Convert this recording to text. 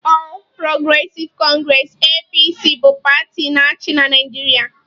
All progressive congress(APC) bụ pati na-achị na Naijiria.